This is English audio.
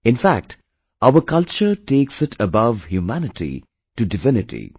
In fact, our culture takes it above Humanity, to Divinity